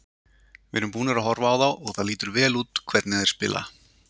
Við erum búnir að horfa á þá og það lítur vel hvernig þeir spila.